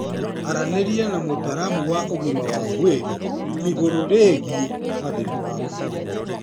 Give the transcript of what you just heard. Aranĩria na mũtaramu wa ũgima wa mwĩrĩ igũrũ rĩgiĩ mathĩna maku.